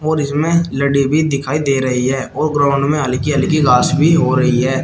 और इसमें लटे भी दिखाई दे रही है और ग्राउंड में हल्की हल्की घास भी हो रही है।